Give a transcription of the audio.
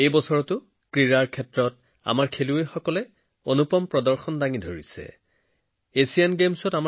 এই বছৰ ক্ৰীড়াতো আমাৰ খেলুৱৈসকলে উজ্জ্বল প্ৰদৰ্শন আগবঢ়াইছে